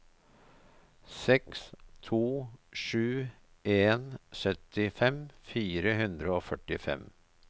seks to sju en syttifem fire hundre og førtifem